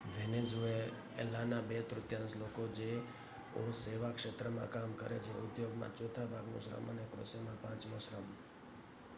વેનેઝુએલાના બે તૃતિયાંશ લોકો જે ઓ સેવા ક્ષેત્રમાં કામ કરે ઉદ્યોગમાં લગભગ ચોથા ભાગનું શ્રમ અને કૃષિમાં પાંચમો શ્રમ